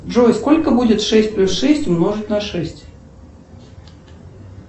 джой сколько будет шесть плюс шесть умножить на шесть